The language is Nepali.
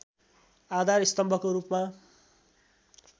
आधार स्तम्भको रूपमा